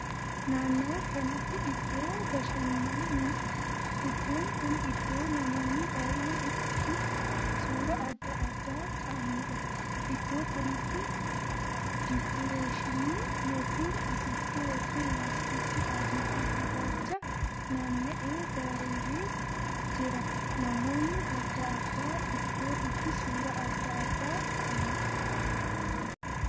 Naannoo kanatti iddoo bashannaniidha. iddoon kun iddoo namoonni baay'een ittiin suuraa addaa addaa kaa'aniidha. iddoo kanatti dikureeshiinii ykn afuuffee ykn laastikii adii fi gurraacha naanna'ee bareedee jira. namoonni addaa addaa iddoo itti suuraa addaa addaa kaa'aniidha.